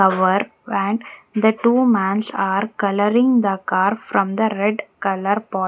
Cover van the two man's are coloring the car from the red color po --